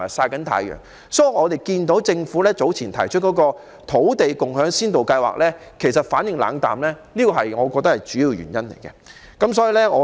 我認為，這正是市民對政府早前提出的土地共享先導計劃反應冷淡的主要原因。